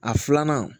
A filanan